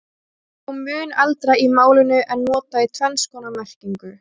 Það er þó mun eldra í málinu en notað í tvenns konar merkingu.